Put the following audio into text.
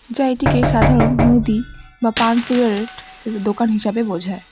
যা এটিকে সাধারণ মুদি বা পান সিগারেট এর দোকান হিসেবে বোঝায়।